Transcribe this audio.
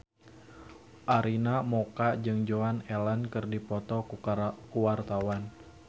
Arina Mocca jeung Joan Allen keur dipoto ku wartawan